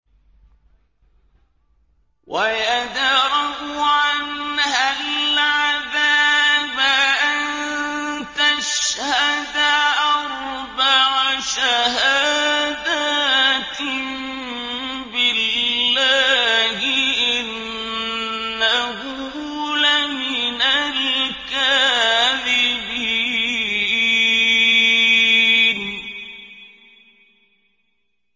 وَيَدْرَأُ عَنْهَا الْعَذَابَ أَن تَشْهَدَ أَرْبَعَ شَهَادَاتٍ بِاللَّهِ ۙ إِنَّهُ لَمِنَ الْكَاذِبِينَ